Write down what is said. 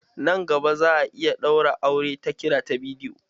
Nan gaba za'a iya ɗaura aure ta kira ta bidiyo.